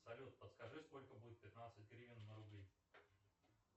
салют подскажи сколько будет пятнадцать гривен на рубли